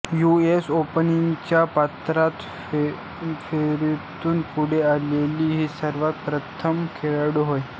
you S ओपनच्या पात्रता फेरीतून पुढे आलेली ही सर्वप्रथम खेळाडू होय